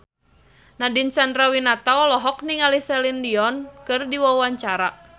Nadine Chandrawinata olohok ningali Celine Dion keur diwawancara